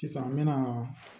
Sisan n me na